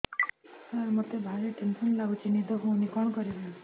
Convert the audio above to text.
ସାର ମତେ ଭାରି ଟେନ୍ସନ୍ ଲାଗୁଚି ନିଦ ହଉନି କଣ କରିବି